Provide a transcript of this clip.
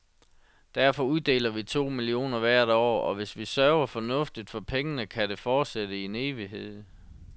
Derfor uddeler vi to millioner hvert år, og hvis vi sørger fornuftigt for pengene, kan det fortsætte i en evighed.